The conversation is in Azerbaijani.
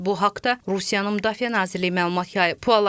Bu haqda Rusiyanın Müdafiə Nazirliyi məlumat yayıb.